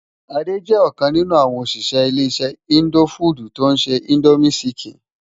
Ade jè okàn ninú áwòn óṣiṣẹ ile-iṣẹ indófúdú tó nṣé Indómi ṣìkín.